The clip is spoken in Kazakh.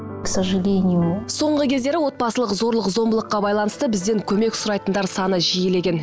к сожалению соңғы кездері отбасылық зорлық зомбылыққа байланысты бізден көмек сұрайтындар саны жиілеген